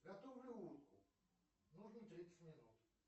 готовлю утку нужно тридцать минут